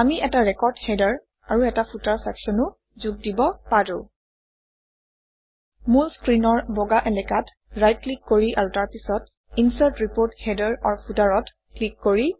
আমি এটা record header আৰু এটা ফুটাৰ চেকশ্যনো যোগ দিব পাৰোঁ - মূল স্ক্ৰীনৰ বগা এলেকাত ৰাইট ক্লিক কৰি আৰু তাৰপিছত ইনচাৰ্ট ৰিপোৰ্ট HeaderFooter অত ক্লিক কৰি